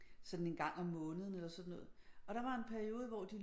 Sådan en gang om måneden eller sådan noget og der var en periode hvor de